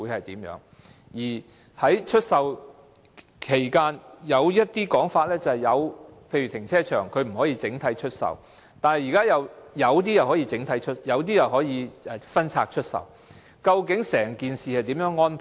另外，有關出售的安排，例如停車場不可以整體出售，但現時有些又可以分拆出售，究竟整件事情是如何安排呢？